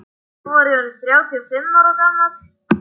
Þá var ég orð inn þrjátíu og fimm ára gamall.